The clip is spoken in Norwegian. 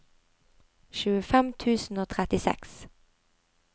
tjuefem tusen og trettiseks